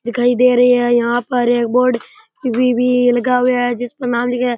दिखाई दे रही है यहाँ पे एक बोर्ड टी_वि भी लगाई हुई है जिसपे नाम लिखा है।